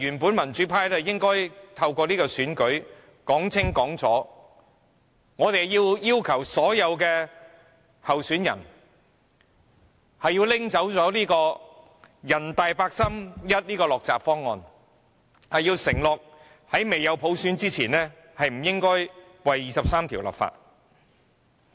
本來民主派應該透過這次選舉說清楚，我們要求所有候選人廢除人大八三一的落閘方案，承諾在未有"普選"前，不會就《基本法》第二十三條立法。